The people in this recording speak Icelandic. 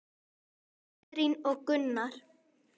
Katrín og Gunnar.